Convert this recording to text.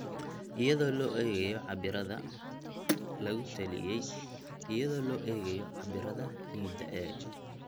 iyadoo loo eegayo cabbirada lagu taliyey iyadoo loo eegayo cabbirada ciidda ee